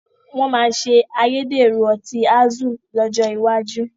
Wọn máa ṣe ayédèrú ọtí Azul lọ́jọ́ iwájú